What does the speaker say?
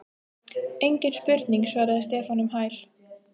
Engin spurning svaraði Stefán um hæl.